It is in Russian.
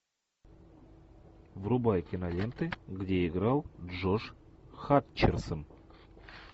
врубай киноленты где играл джош хатчерсон